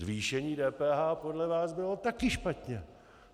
Zvýšení DPH podle vás bylo také špatně.